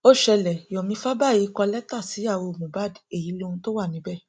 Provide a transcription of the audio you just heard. ó ṣẹlẹ yomi fabayì kọ lẹtà síyàwó mohbad èyí lóhun tó wà níbẹ